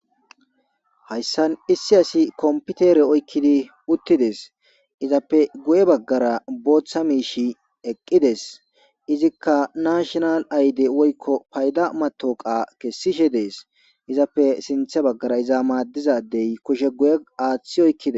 Hayssan issi asi kompitere oykkidi uttides. Izappe guye baggara booththa miishi eqqides Izikka nashinal ayde woykko payda matoqa kessishe dees. Izappe sinthe baggara iza maaddizadey kushe guye aaththi oykkide.